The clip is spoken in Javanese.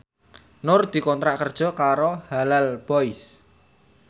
Nur dikontrak kerja karo Halal Boys